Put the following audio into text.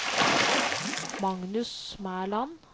Magnus Mæland